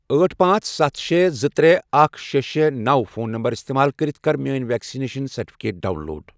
أٹھ، پانژھ، ستھَ، شے، زٕ، ترے، اکھ، شے، شے، نوَ، فون نمبر استعمال کٔرِتھ کر میٲنۍ ویکسیٖن سرٹِفکیٹ ڈاؤن لوڈ۔